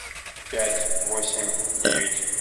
пять восемь девять